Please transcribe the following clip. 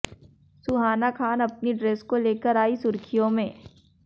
सुहाना खान अपनी ड्रेस को लेकर आईं सुर्खियों में